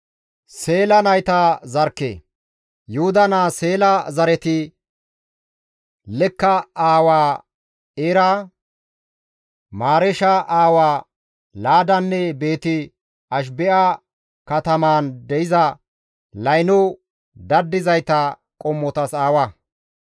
Yuhuda naa Seela zareti Lekka aawaa Eera, Mareesha aawaa Laadanne Beeti-Ashibe7a katamaan de7iza layno daddizayta qommotas aawa.